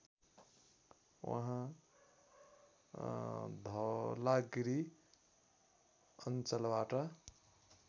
उहाँ धौलागिरी अञ्चलबाट